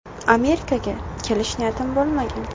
Amerikaga kelish niyatim bo‘lmagan.